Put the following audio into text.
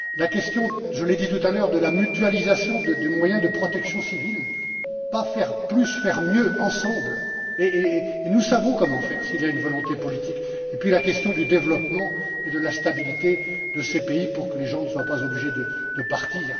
la question, je l'ai dit tout à l'heure, de la mutualisation des moyens de protection civile, pas faire plus, faire mieux ensemble, et nous savons comment faire s'il y a une volonté politique et puis, la question du développement et de la stabilité de ces pays pour que les gens ne soient pas obligés de partir.